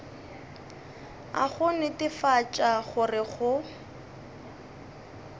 a go netefatša gore go